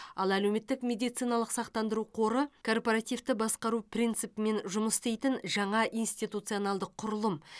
ал әлеуметтік медициналық сақтандыру қоры корпоративті басқару принципімен жұмыс істейтін жаңа институтционалдық құрылым